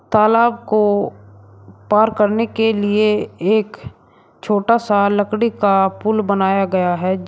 तालाब को पार करने के लिए एक छोटा सा लकड़ी का पुल बनाया गया है जी।